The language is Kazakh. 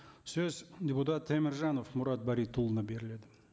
сөз депутат теміржанов мұрат баритұлына беріледі